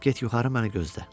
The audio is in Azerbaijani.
Get yuxarı məni gözlə.